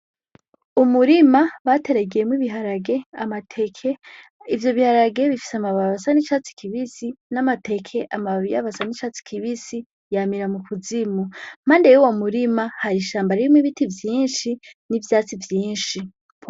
Umurima bateragiyemwo ibiharage amateke ivyo biharage bifise amababasa n'icatsi kibisi n'amateke amababo iyabasa n'icatsi kibisi yamira mu kuzimu mande yo wo murima hari ishambo rimwe ibiti vyinshi n'ivyatsi vyinshi.